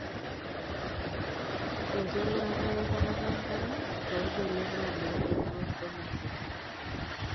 Enkingurata enkuatata enkare tooldonyio loloontoluo lolosho.